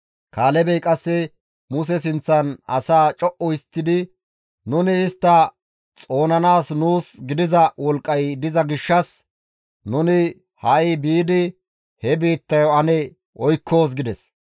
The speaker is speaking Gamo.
Kaalebey qasse Muse sinththan asaa co7u histtidi, «Nuni istta xoonanaas nuus gidiza wolqqay diza gishshas nuni ha7i biidi he biittayo ane oykkoos» gides.